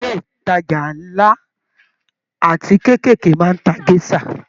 Ilé ìtajà nla àti keekeekee máa n tá gèsà.